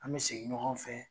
An mɛ segin ɲɔgɔn fɛ